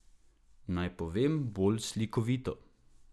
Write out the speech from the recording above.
Naj povem bolj slikovito.